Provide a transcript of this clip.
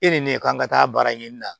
E de ye ne ye k'an ka taa baara ɲini na